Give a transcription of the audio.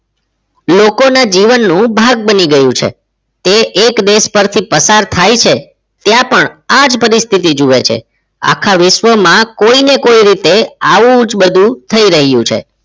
લોકોના જીવનનું ભાગ્ય બની ગયું છે તે એક દેશ પરથી પસાર થાય છે ત્યાં પણ આ જ પરિસ્થિતિ જોઈએ છે આખા વિશ્વમાં કોઈને કોઈ રીતે આવું જ બધું થઈ રહ્યું છે